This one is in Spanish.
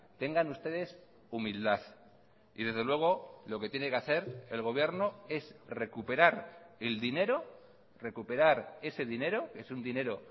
tengan ustedes humildad y desde luego lo que tiene que hacer el gobierno es recuperar el dinero recuperar ese dinero es un dinero